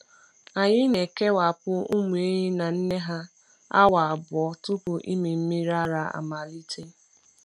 Anyị na-ekewapụ ụmụ ehi na nne ha awa abụọ tupu ịmị mmiri ara amalite.